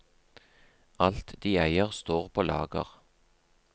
Alt de eier står på lager.